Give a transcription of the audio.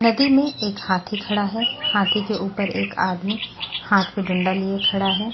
नदी में एक हाथी खड़ा है हाथी के ऊपर एक आदमी हाथ पे डंडा लिए खड़ा है।